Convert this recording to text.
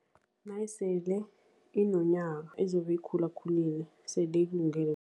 Nayisele inonyaka, izobe ikhulakhulile sele ikulungele.